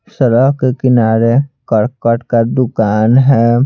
सड़क के किनारे करकट का दुकान है।